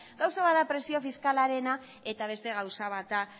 gauza bat da presio fiskalarena eta beste gauza bat da